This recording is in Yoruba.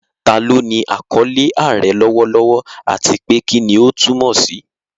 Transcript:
Ta ló ní àkọlé "Aare" lọ́wọ́lọ́wọ́, àti pé kí ni ó túmọ̀ sí?